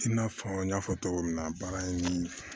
I n'a fɔ n y'a fɔ cogo min na baara in nii